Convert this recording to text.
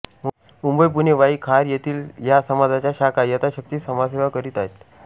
मुंबई पुणे वाई खार येथील या समाजाच्या शाखा यथाशक्ती समाजसेवा करीत आहेत